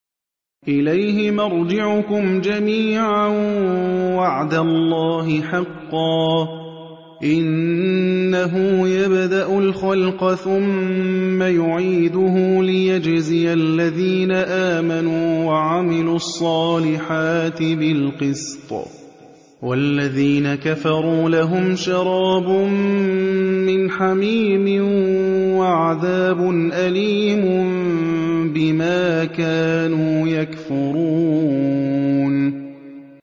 إِلَيْهِ مَرْجِعُكُمْ جَمِيعًا ۖ وَعْدَ اللَّهِ حَقًّا ۚ إِنَّهُ يَبْدَأُ الْخَلْقَ ثُمَّ يُعِيدُهُ لِيَجْزِيَ الَّذِينَ آمَنُوا وَعَمِلُوا الصَّالِحَاتِ بِالْقِسْطِ ۚ وَالَّذِينَ كَفَرُوا لَهُمْ شَرَابٌ مِّنْ حَمِيمٍ وَعَذَابٌ أَلِيمٌ بِمَا كَانُوا يَكْفُرُونَ